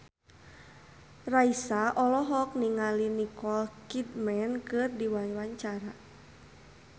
Raisa olohok ningali Nicole Kidman keur diwawancara